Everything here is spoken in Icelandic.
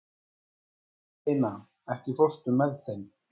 Eleina, ekki fórstu með þeim?